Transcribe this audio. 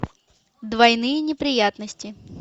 двойные неприятности